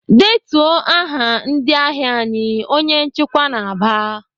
"Detuo aha ndị ahịa anyị!" Onye nchịkwa na-aba.